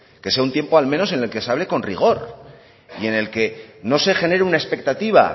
que sea un tiempo al menos en el que se hable con rigor y en el que no se genere una expectativa